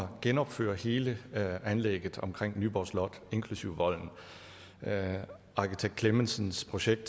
genopføre hele anlægget omkring nyborg slot inklusive volden arkitekt clemmensens projekt